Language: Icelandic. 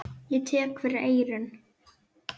Ég tek fyrir eyrun.